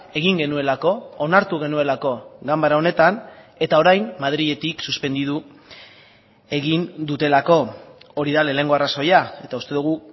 egin genuelako onartu genuelako ganbara honetan eta orain madriletik suspenditu egin dutelako hori da lehenengo arrazoia eta uste dugu